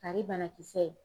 Kari banakisɛ